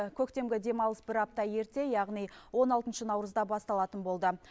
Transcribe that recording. көктемгі демалыс бір апта ерте яғни он алтыншы наурызда басталатын болды